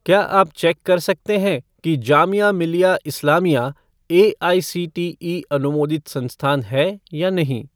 क्या आप चेक कर सकते हैं कि जामिया मिल्लिया इस्लामिया एआईसीटीई अनुमोदित संस्थान है या नहीं?